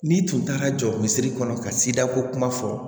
N'i tun taara jɔ kunsiri kɔnɔ ka sida ko kuma fɔ